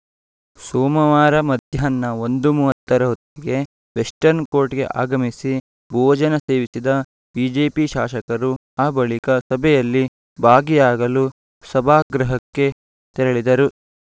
ಸೋಮವಾರ ಮಧ್ಯಾಹ್ನ ಒಂದು ಮೂವತ್ತ ರ ಹೊತ್ತಿಗೆ ವೆಸ್ಟರ್ನ್‌ ಕೋರ್ಟ್‌ಗೆ ಆಗಮಿಸಿ ಭೋಜನ ಸೇವಿಸಿದ ಬಿಜೆಪಿ ಶಾಸಕರು ಆ ಬಳಿಕ ಸಭೆಯಲ್ಲಿ ಭಾಗಿಯಾಗಲು ಸಭಾಗೃಹಕ್ಕೆ ತೆರಳಿದರು